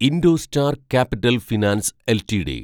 IndoStar capital finance LTD